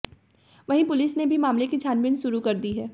वहीं पुलिस ने भी मामले की छानबीन शुरू कर दी है